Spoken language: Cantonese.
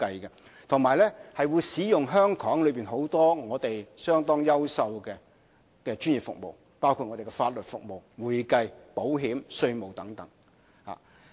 此外，也會使用香港許多優秀的專業服務，包括法律、會計、保險、稅務服務等。